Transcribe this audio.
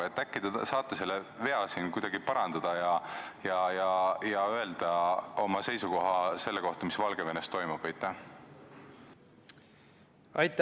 Äkki te saate selle vea siin parandada ja öelda oma seisukoha selle kohta, mis Valgevenes toimub?